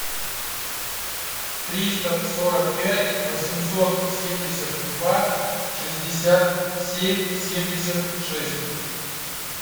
триста сорок пять восемьсот семьдесят два шестьдесят семь семьдесят шесть